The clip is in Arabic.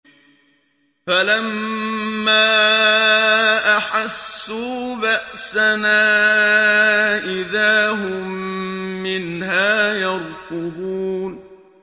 فَلَمَّا أَحَسُّوا بَأْسَنَا إِذَا هُم مِّنْهَا يَرْكُضُونَ